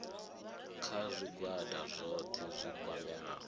kha zwigwada zwohe zwi kwameaho